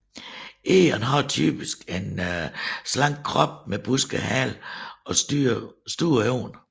Egern har typisk en slank krop med busket hale og store øjne